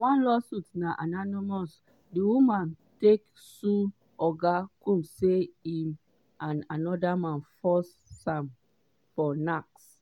one lawsuit na anonymously the woman take sue oga combs say im and anoda man force am for nacks.